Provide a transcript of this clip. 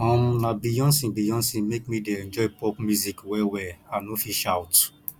um na beyonce beyonce make me dey enjoy pop music wellwell i no fit shout